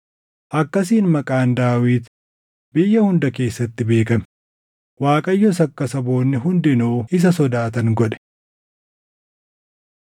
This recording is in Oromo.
Akkasiin maqaan Daawit biyya hunda keessatti beekame; Waaqayyos akka saboonni hundinuu isa sodaatan godhe.